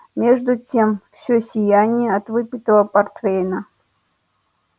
между тем все сияние от выпитого портвейна